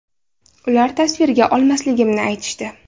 Ular tasvirga olmasligimni aytishdi.